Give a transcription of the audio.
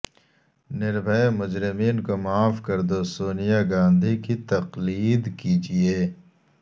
نربھئے مجرمین کو معاف کردو سونیا گاندھی کی تقلید کیجئے